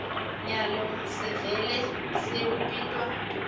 nyalo sevele sewubitwa